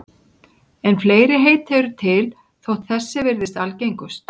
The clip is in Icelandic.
En fleiri heiti eru til þótt þessi virðist algengust.